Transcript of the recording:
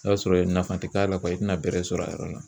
I b'a sɔrɔ nafa tɛ k'a la i tɛna bɛrɛ sɔrɔ a yɔrɔ la.